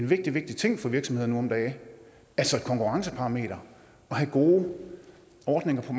vigtig ting for virksomhederne nu om dage altså et konkurrenceparameter at have gode ordninger for